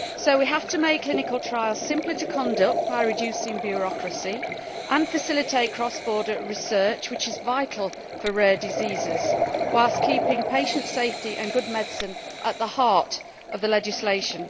We have to make clinical trials simpler to conduct by reducing bureaucracy and facilitate cross border research, which is vital for rare diseases, whilst keeping patient safety and good medicine at the heart of the legislation.